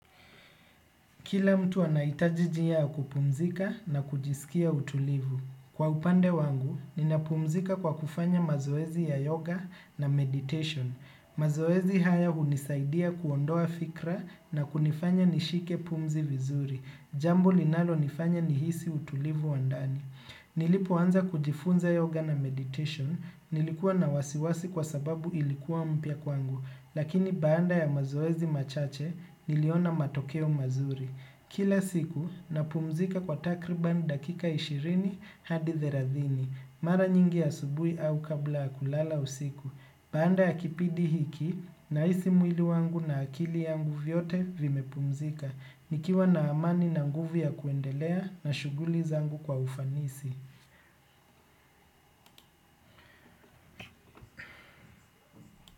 Kila mtu anahitaji njia ya kupumzika na kujisikia utulivu. Kwa upande wangu, nina pumzika kwa kufanya mazoezi ya yoga na meditation. Mazoezi haya hunisaidia kuondoa fikra na kunifanya nishike pumzi vizuri. Jambo linalo nifanya nihisi utulivu wa ndani. Nilipo anza kujifunza yoga na meditation, nilikuwa na wasiwasi kwa sababu ilikuwa mpya kwangu. Lakini baada ya mazoezi machache niliona matokeo mazuri. Kila siku napumzika kwa takriban dakika ishirini hadi thelathini. Mara nyingi asubuhi au kabla ya kulala usiku. Baada ya kipindi hiki nahisi mwili wangu na akili yangu vyote vimepumzika. Nikiwa na amani na nguvu ya kuendelea na shuguli zangu kwa ufanisi.